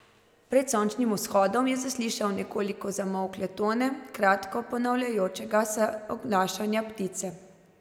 Pred sončnim vzhodom je zaslišal nekoliko zamolkle tone kratko ponavljajočega se oglašanja ptice.